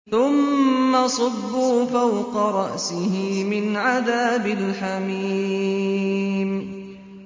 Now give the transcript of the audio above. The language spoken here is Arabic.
ثُمَّ صُبُّوا فَوْقَ رَأْسِهِ مِنْ عَذَابِ الْحَمِيمِ